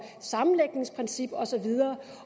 sammenlægningsprincip og så videre